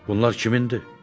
Bunlar kimindir?